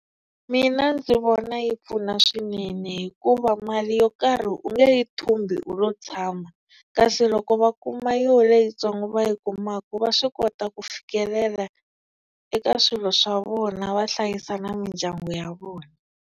Mina ndzi vona yi pfuna swinene hikuva mali yo karhi u nge yi thumbi u lo tshama, kasi loko va kuma yo leyitsongo va yi kumaka va swi kota ku fikelela eka swilo swa vona va hlayisa na mindyangu ya vona.